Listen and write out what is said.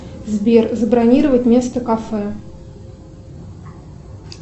сбер забронировать место кафе